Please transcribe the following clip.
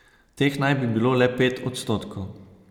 Teh naj bi bilo le pet odstotkov.